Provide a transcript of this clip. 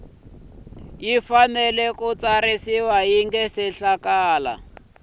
fanele ku tsarisiwa ku nga